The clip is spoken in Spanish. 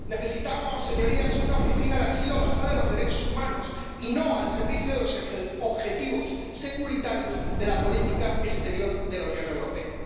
Necesitamos, señorías, una Oficina de Asilo basada en los derechos humanos, y no al servicio de los objetivos securitarios de la política exterior de la Unión Europea.